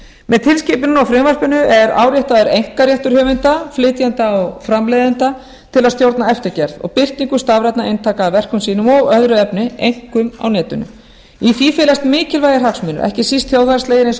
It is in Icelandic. tilskipuninni og frumvarpinu er áréttaður einkaréttur höfunda flytjenda og framleiðenda til að stjórna eftirgerð og birtingu stafrænna eintaka af verkum sínum og öðru efni einkum á netinu í því felast mikilvægir hagsmunir ekki síst þjóðhagslegir eins og